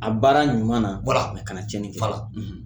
A baara ɲuman na kana tiɲɛnin kɛ